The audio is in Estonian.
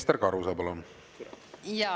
Ester Karuse, palun!